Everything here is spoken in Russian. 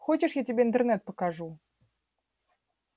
хочешь я тебе интернет покажу